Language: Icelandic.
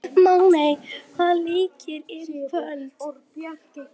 Máney, hvaða leikir eru í kvöld?